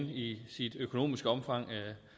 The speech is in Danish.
i sit økonomiske omfang